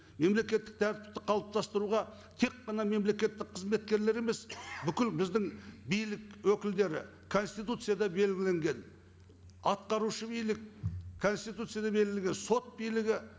мемлекеттік тәртіпті қалыптастыруға тек қана мемлекеттік қызметкерлер емес бүкіл біздің билік өкілдері конституцияда белгіленген атқарушы билік конституцияда белгіленген сот билігі